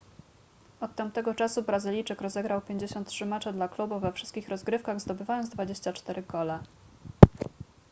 od tamtego czasu brazylijczyk rozegrał 53 mecze dla klubu we wszystkich rozgrywkach zdobywając 24 gole